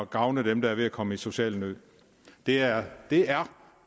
gavne dem der er ved at komme i social nød det er det er